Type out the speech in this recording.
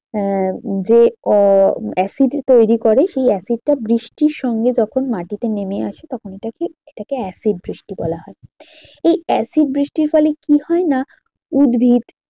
হ্যাঁ যে আহ acid এ তৈরী করে সেই acid টা বৃষ্টির সঙ্গে যখন মাটিতে নেমে আসে তখন এটাকে, এটাকে acid বৃষ্টি বলা হয় এই acid বৃষ্টির ফলে কি হয় না উদ্ভিদ